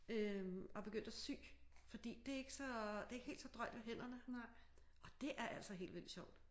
Øh og begyndt at sy fordi det er ik så det er ikke helt så drøjt ved hænderne og det er altså helt vildt sjovt